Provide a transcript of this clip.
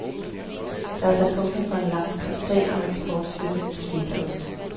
Der er sat punktum for en langstrakt sag om eksportstøtte til fetaost.